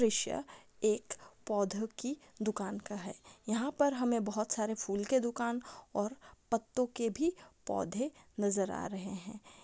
दृश्य एक पौधे की दुकान का है। यहाँ पर हमें बहुत सारे फूल के दुकान और पत्तो के भी पौधे नजर आ रहे है।